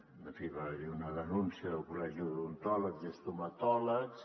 en fi va haver hi una denúncia del col·legi d’odontòlegs i estomatòlegs